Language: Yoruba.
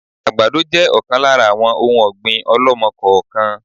Àgbàdo jẹ ọ̀kan lára àwọn òun ọ̀gbín ọ̀lọ́mọ-kọọ-kan